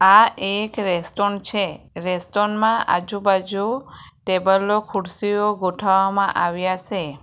આ એક રેસ્ટોરન છે રેસ્ટોરન માં આજુબાજુ ટેબલો ખુરશીઓ ગોઠવવામાં આવ્યા સે.